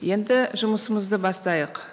енді жұмысымызды бастайық